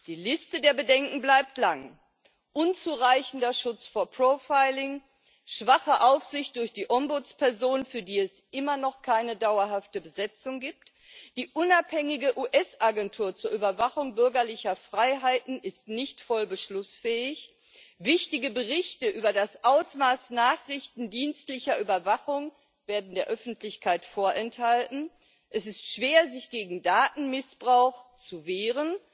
Die Liste der Bedenken bleibt lang unzureichender Schutz vor Profiling, schwache Aufsicht durch die Ombudsperson, für die es immer noch keine dauerhafte Besetzung gibt, die unabhängige US Agentur zur Überwachung bürgerlicher Freiheiten ist nicht voll beschlussfähig, wichtige Berichte über das Ausmaß nachrichtendienstlicher Überwachung werden der Öffentlichkeit vorenthalten, es ist schwer, sich gegen Datenmissbrauch zu wehren,